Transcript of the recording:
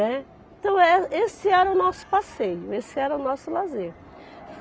Né. Então, eh esse era o nosso passeio, esse era o nosso lazer.